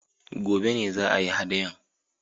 Gobe ne za a yi haɗayan